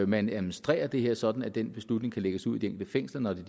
man administrerer det her sådan at den beslutning kan lægges ud i de enkelte fængsler når det